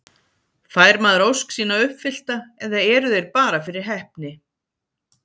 Fær maður ósk sína uppfyllta eða eru þeir bara fyrir heppni?